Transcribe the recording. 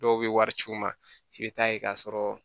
Dɔw bɛ wari ci u ma f'i bɛ taa yen k'a sɔrɔ